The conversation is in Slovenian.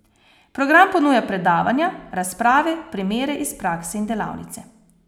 Program ponuja predavanja, razprave, primere iz prakse in delavnice.